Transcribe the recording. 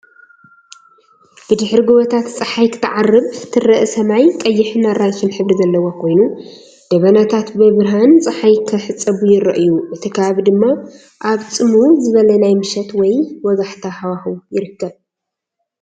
ብድሕሪ ጎቦታት ጸሓይ ክትዓርብ ትርአ። ሰማይ ቀይሕን ኣራንሺን ሕብሪ ዘለዎ ኮይኑ፡ ደበናታት ብብርሃን ጸሓይ ክሕጸቡ ይረኣዩ። እቲ ከባቢ ድማ ኣብ ጽምው ዝበለ ናይ ምሸት ወይ ወጋሕታ ሃዋህው ይርከብ።